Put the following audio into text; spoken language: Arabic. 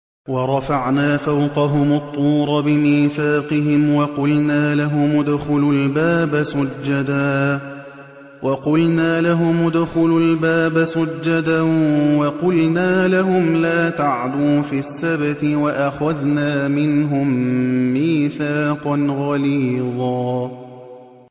وَرَفَعْنَا فَوْقَهُمُ الطُّورَ بِمِيثَاقِهِمْ وَقُلْنَا لَهُمُ ادْخُلُوا الْبَابَ سُجَّدًا وَقُلْنَا لَهُمْ لَا تَعْدُوا فِي السَّبْتِ وَأَخَذْنَا مِنْهُم مِّيثَاقًا غَلِيظًا